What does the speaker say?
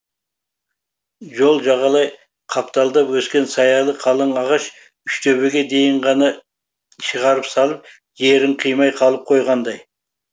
жол жағалай қапталдап өскен саялы қалың ағаш үштөбеге дейін ғана шығарып салып жерін қимай қалып қойғандай